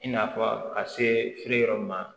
I n'a fɔ ka se feere yɔrɔ ma